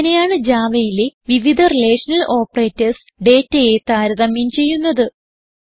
ഇങ്ങനെയാണ് Javaയിലെ വിവിധ റിലേഷണൽ ഓപ്പറേറ്റർസ് ഡേറ്റയെ താരതമ്യം ചെയ്യുന്നത്